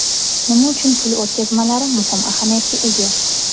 Nima uchun pul o‘tkazmalari muhim ahamiyatga ega?